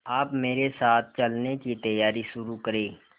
आप मेरे साथ चलने की तैयारी शुरू करें